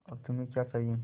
अब तुम्हें क्या चाहिए